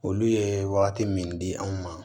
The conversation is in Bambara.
Olu ye wagati min di an ma